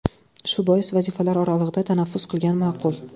Shu bois, vazifalar oralig‘ida tanaffus qilgan ma’qul.